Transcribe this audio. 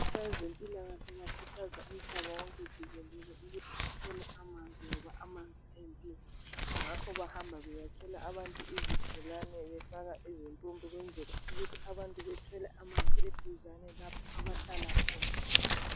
Kwezempilakahle bakhuthaza umhlaba wonke jikelele ukuthi bathole amanzi ngoba amanzi eyimpilo ngakho bahamba beyakhela abantu izibholane befaka izimpompi ukwenzela ukuthi abantu bathole amanzi eduzane lapho abahlala khona.